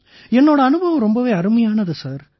என்னோட அனுபவம் ரொம்பவே அருமையானது சார்